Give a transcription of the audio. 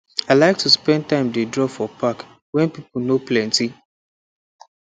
i like to spend time dey draw for park when pipo no plenty